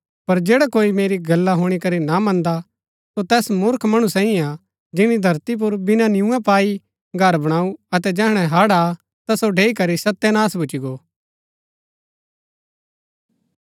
पर जैडा कोई मेरी गल्ला हुणी करी ना मन्दा सो तैस मूर्ख मणु सैईऐ हा जिनी धरती पुर बिना नियुआं पाई घर बणाऊ अतै जैहणै हड़ आ ता सो ढैई करी सत्यनाश भूच्ची गो